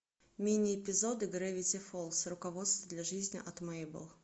мини эпизоды гравити фолз руководство для жизни от мэйбл